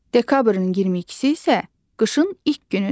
Dekabrın 22-si isə qışın ilk günüdür.